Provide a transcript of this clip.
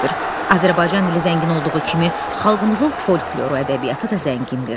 Azərbaycan dili zəngin olduğu kimi xalqımızın folkloru ədəbiyyatı da zəngindir.